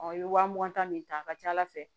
i ye wa mugan ta min ta a ka ca ala fɛ